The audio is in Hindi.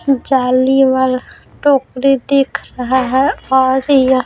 जाली वाला टोकरी दिख रहा है और यह--